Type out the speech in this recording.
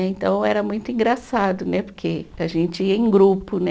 Então era muito engraçado, né, porque a gente ia em grupo, né.